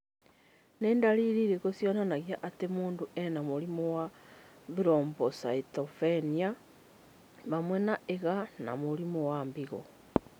Nĩ ndariri irĩkũ cionanagia atĩ mũndũ arĩ na mũrimũ wa Thrombocytopenia hamwe na IgA na mũrimũ wa higo?